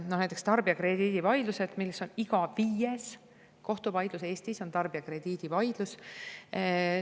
No näiteks tarbijakrediidivaidlused: iga viies kohtuvaidlus Eestis on tarbijakrediidivaidlus.